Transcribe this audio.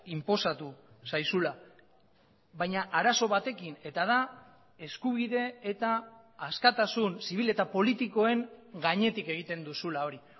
inposatu zaizula baina arazo batekin eta da eskubide eta askatasun zibil eta politikoen gainetik egiten duzula hori